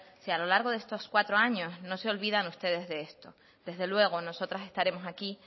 si a lo largo de estos cuatro años no se olvidan ustedes de esto desde luego nosotras estaremos aquí